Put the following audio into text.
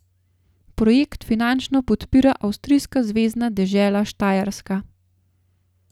Projekt finančno podpira avstrijska zvezna dežela Štajerska.